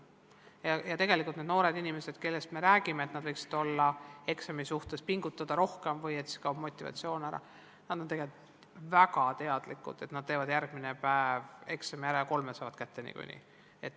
Tegelikult nendel noortel inimestel, kellest me räägime, et nad võiksid eksamiteks rohkem pingutada, kaob ehk motivatsioon ära, kui nad on tegelikult väga hästi teadlikud, et nad teevad järgmine päev eksami ära ja kolme saavad kätte niikuinii.